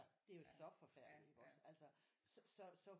Det er jo så forfærdeligt iggås så så